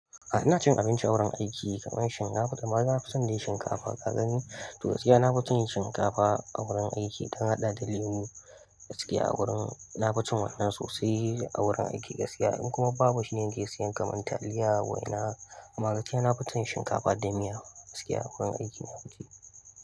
A'a ina cin abinci a wurin aiki kamar shinkafa, amma na fi son dai shinkafa. Ka gani? To, gaskiya nafi cin shinkafa a wurin aiki in dan haɗa da lemo gaskiya a wurin. Na fi cin wannan sosai a wurin aiki gaskiya. In kuma babu shine nake siyan kamar taliya waina, amma gaskiya na fi cin shinkafa da miya gaskiya a wurin aiki na fi ci.